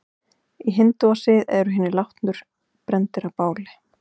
Í hindúasið eru hinir látnu brenndir á báli.